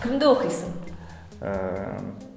кімді оқисың ыыы